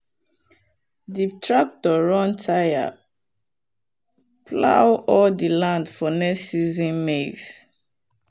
the tractor run tire plow all the land for next season maize.